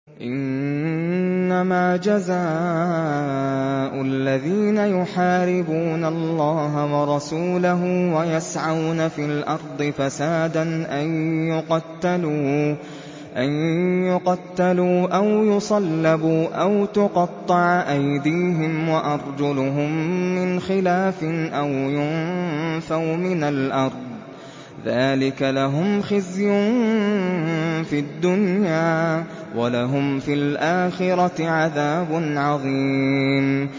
إِنَّمَا جَزَاءُ الَّذِينَ يُحَارِبُونَ اللَّهَ وَرَسُولَهُ وَيَسْعَوْنَ فِي الْأَرْضِ فَسَادًا أَن يُقَتَّلُوا أَوْ يُصَلَّبُوا أَوْ تُقَطَّعَ أَيْدِيهِمْ وَأَرْجُلُهُم مِّنْ خِلَافٍ أَوْ يُنفَوْا مِنَ الْأَرْضِ ۚ ذَٰلِكَ لَهُمْ خِزْيٌ فِي الدُّنْيَا ۖ وَلَهُمْ فِي الْآخِرَةِ عَذَابٌ عَظِيمٌ